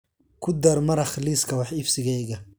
ku dar maraq liiska wax iibsigayga